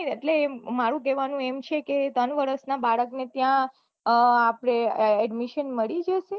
એટલે એમ મારું કહેવાનું એમ છે કે ત્રણ વર્ષ બાળક ને ત્યાં આપડે admission મળી જ શે